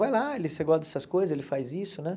Vai lá, ele você gosta dessas coisas, ele faz isso, né?